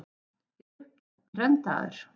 Ég er upptendraður.